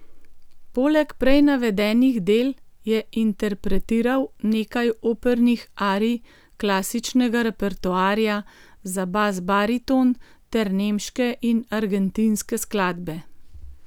Poleg prej navedenih del je interpretiral nekaj opernih arij klasičnega repertoarja za basbariton ter nemške in argentinske skladbe.